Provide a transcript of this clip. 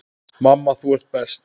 Mamma, þú ert best.